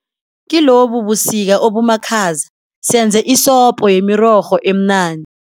Kilobu busika obumakhaza senze isopo yemirorho emnandi.